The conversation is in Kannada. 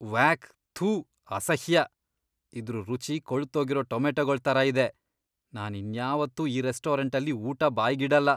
ವ್ಯಾಕ್! ಥು ಅಸಹ್ಯ! ಇದ್ರು ರುಚಿ ಕೊಳ್ತೋಗಿರೋ ಟೊಮೆಟೊಗಳ್ ಥರ ಇದೆ, ನಾನ್ ಇನ್ಯಾವತ್ತೂ ಈ ರೆಸ್ಟೋರೆಂಟಲ್ಲಿ ಊಟ ಬಾಯ್ಗಿಡಲ್ಲ.